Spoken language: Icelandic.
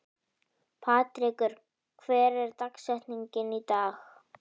Patrekur, hver er dagsetningin í dag?